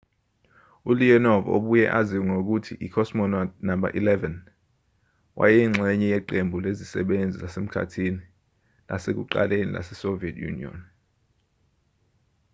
uleonov obuye aziwe ngokuthi i-cosmonaut no 11 wayeyingxenye yeqembu lezisebenzi zasemkhathini lasekuqaleni lasesoviet union